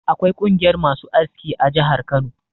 Akwai ƙungiyar masu aski a jihar Kano.